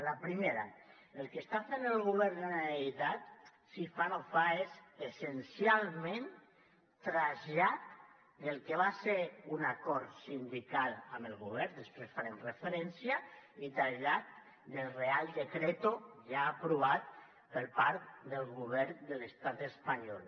la primera el que està fent el govern de la generalitat si fa no fa és essencialment trasllat del que va ser un acord sindical amb el govern després hi farem referència i trasllat del real decreto ja aprovat per part del govern de l’estat espanyol